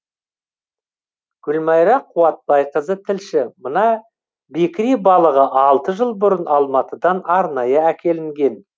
гүлмайра қуатбайқызы тілші мына бекіре балығы алты жыл бұрын алматыдан арнайы әкелінген